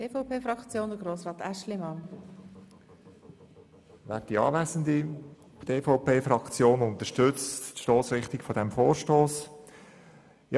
Die EVP-Fraktion unterstützt die Stossrichtung dieses Vorstosses.